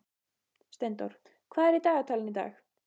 Steindór, hvað er í dagatalinu í dag?